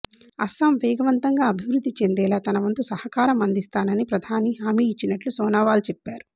అస్సాం వేగవంతంగా అభివృద్ధి చెందేలా తన వంతు సహకారం అందిస్తానని ప్రధాని హామీ ఇచ్చినట్లు సోనోవాల్ చెప్పారు